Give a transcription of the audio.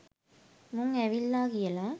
මුං ඇවිල්ලා කියලා.